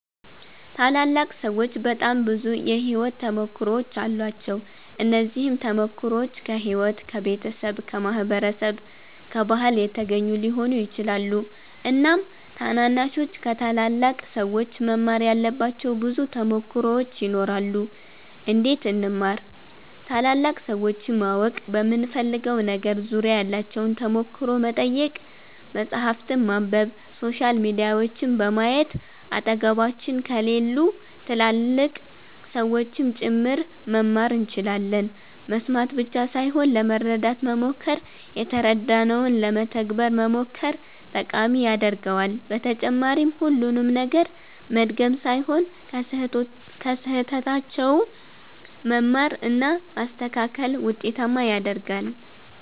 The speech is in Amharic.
ታላላቅ ሠዎች በጣም ብዙ የሕይወት ተሞክሮዎች አሏቸው። እነዚህም ተሞክሮዎች ከሕይወት፣ ከቤተሰብ፣ ከማህበረሰብ፣ ከባህል የተገኙ ሊሆኑ ይችላሉ። እናም ታናናሾች ከታላላቅ ሠዎች መማር ያለባቸው ብዙ ተሞክሮዎች ይኖራሉ። እንዴት እንማር ?ታላላቅ ሠዎችን ማወቅ በምንፈልገው ነገር ዙሪያ ያላቸውን ተሞክሮ መጠየቅ፣ መፃህፍትን ማንበብ፣ ሶሻል ሚዲያዎችን በማየት አጠገባችን ከሌሉ ትላልቅ ሠዎችም ጭምር መማር እንችላለን መስማት ብቻ ሣይሆን ለመረዳት መሞከር የተረዳነውን ለመተግበር መሞከር ጠቃሚ ያደርገዋል በተጨማሪም ሁሉንም ነገር መድገም ሣይሆን ከሥህተታቸውም መማር እና ማስተካከል ውጤታማ ያደርጋል።